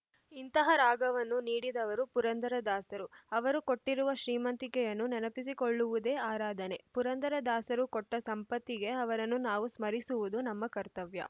ಇಂತಹ ರಾಗವನ್ನು ನೀಡಿದವರು ಪುರಂದರದಾಸರು ಅವರು ಕೊಟ್ಟಿರುವ ಶ್ರೀಮಂತಿಕೆಯನ್ನು ನೆನಪಿಸಿಕೊಳ್ಳುವುದೇ ಆರಾಧನೆ ಪುರಂದರದಾಸರು ಕೊಟ್ಟಸಂಪತ್ತಿಗೆ ಅವರನ್ನು ನಾವು ಸ್ಮರಿಸುವುದು ನಮ್ಮ ಕರ್ತವ್ಯ